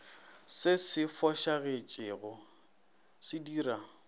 se se fošagetšego se dira